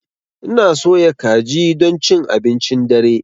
Ina soya kaji don cin abincin dare.